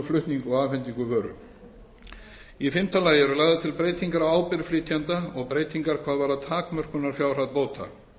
flutning og afhendingu vöru í fimmta lagi eru lagðar til breytingar á ábyrgð flytjanda og breytingar hvað varðar takmörkunarfjárhæð bóta